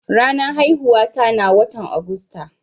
Ranan haihuwa ta na wotan Agusta.